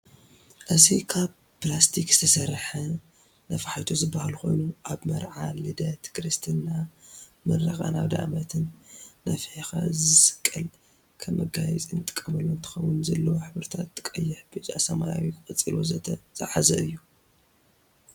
እዚ ካብ ፕላስቲክ ዝተሰርሐ ነፍሐይቶ ዝበሃል ኮይኑ አብ መርዓ፣ ልደት፣ ክርስትና፣ ምረቃን አብደአመትን ነፍሕኻ ዝስቀል ከም መጋየፂ ንጥቀመሉ እንትኾን ዘለው ሕብርታት ቀይሕ፣ ብጫ፣ ሰማያዊ፣ ቆፃል ወዘተ ዝሐዘ እዩ።